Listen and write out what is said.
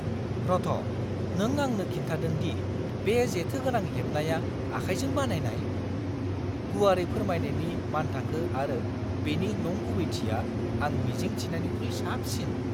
रथ', नों आंनो खिन्थादों दि बे जेथोगोनां हेबनाया आखाइजों बानायनाय? गुवारै फोरमायनायनि मानथाखो आरो बेनि नंगुबैथिया आं मिजिं थिनायनिख्रुइ साबसिन!